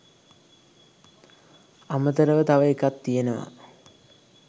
අමතරව තව එකක් තියෙනවා